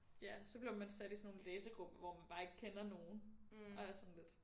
Ja så blev man sat i sådan nogle læsegrupper hvor man bare ikke kender nogen og er sådan lidt